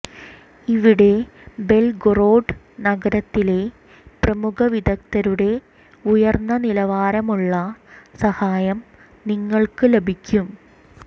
ഇവിടെ ബെൽഗൊറൊഡ് നഗരത്തിലെ പ്രമുഖ വിദഗ്ധരുടെ ഉയർന്ന നിലവാരമുള്ള സഹായം നിങ്ങൾക്ക് ലഭിക്കും